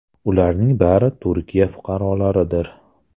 Ularning bari Turkiya fuqarolaridir.